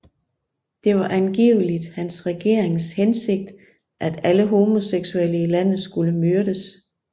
Det var angiveligt hans regerings hensigt at alle homoseksuelle i landet skulle myrdes